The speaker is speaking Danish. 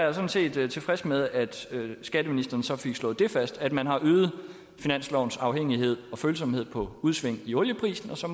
er sådan set tilfreds med at skatteministeren så fik slået fast at man har øget finanslovens afhængighed af og følsomhed for udsving i olieprisen og så